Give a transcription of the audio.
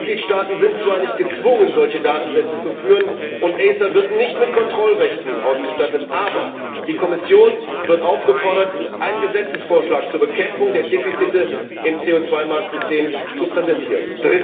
Die Mitgliedstaaten sind zwar nicht gezwungen, solche Datensätze zu führen, und ACER wird nicht mit Kontrollrechten ausgestattet, aber die Kommission wird aufgefordert, einen Gesetzesvorschlag zur Bekämpfung der Defizite im CO 2 Marktsystem zu präsentieren.